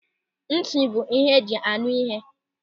Nti bụ ihe eji a nụ ihe.